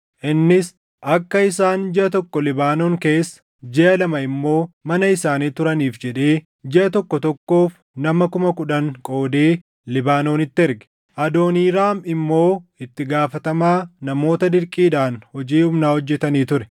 Innis akka isaan jiʼa tokko Libaanoon keessa, jiʼa lamaa immoo mana isaanii turaniif jedhee, jiʼa tokko tokkoof nama kuma kudhan qoodee Libaanoonitti erge. Adooniiraam immoo itti gaafatamaa namoota dirqiidhaan hojii humnaa hojjetanii ture.